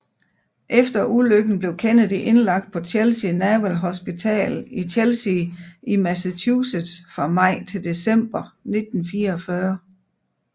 Efter ulykken blev Kennedy indlagt på Chelsea Naval Hospital i Chelsea i Massachusetts fra maj til december 1944